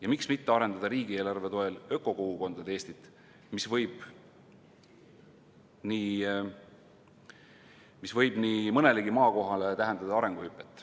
Ja miks mitte arendada riigieelarve toel ökokogukondade Eestit, mis võib nii mõnelegi maakohale tähendada arenguhüpet.